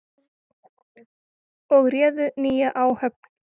og réðu nýja áhöfn.